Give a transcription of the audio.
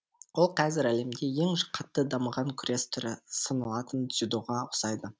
ол қазір әлемде ең қатты дамыған күрес түрі сыналатын дзюдоға ұқсайды